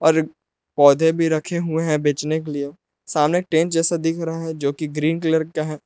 और पौधे भी रखे हुए हैं बचने के लिए सामने टेंट जैसा दिख रहा है जो कि ग्रीन कलर का है।